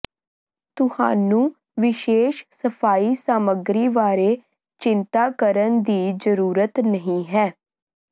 ਤੁਹਾਨੂੰ ਵਿਸ਼ੇਸ਼ ਸਫਾਈ ਸਾਮੱਗਰੀ ਬਾਰੇ ਚਿੰਤਾ ਕਰਨ ਦੀ ਜ਼ਰੂਰਤ ਨਹੀਂ ਹੈ